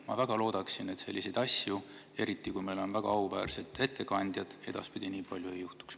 Ma väga loodan, et selliseid asju, eriti kui meil on siin väga auväärsed ettekandjad, edaspidi nii palju ei juhtu.